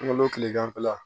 N kolo kileganfɛla